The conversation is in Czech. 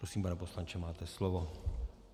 Prosím, pane poslanče, máte slovo.